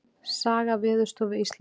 Saga Veðurstofu Íslands.